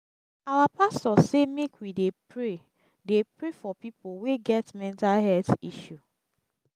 our pastor sey make we dey pray dey pray for pipo wey get mental health issue.